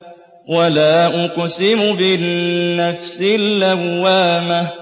وَلَا أُقْسِمُ بِالنَّفْسِ اللَّوَّامَةِ